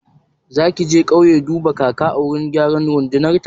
Zaki je kauye duban kaka a wurin gyaran randunar ta?